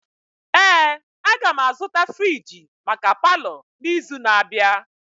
Ee, agam azụta friji maka palọ n'izu na-abịa.